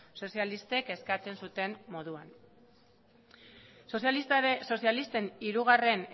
sozialistek eskatu zuten moduan sozialisten hiru